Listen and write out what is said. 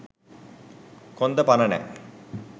කොන්ද පණ නෑ